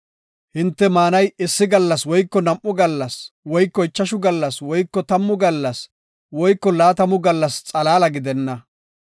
Hinte maanay issi gallas woyko nam7u gallas woyko ichashu gallas woyko tammu gallas woyko laatamu gallas xalaala gidenna.